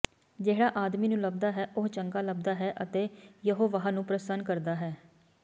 ਜਿਹੜਾ ਆਦਮੀ ਨੂੰ ਲੱਭਦਾ ਹੈ ਉਹ ਚੰਗਾ ਲੱਭਦਾ ਹੈ ਅਤੇ ਯਹੋਵਾਹ ਨੂੰ ਪ੍ਰਸੰਨ ਕਰਦਾ ਹੈ